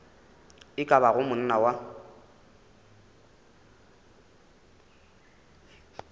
e ka bago monna wa